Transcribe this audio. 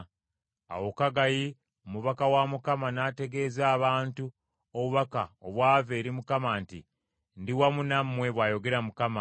Awo Kaggayi omubaka wa Mukama n’ategeeza abantu obubaka obwava eri Mukama nti, “Ndi wamu nammwe,” bw’ayogera Mukama .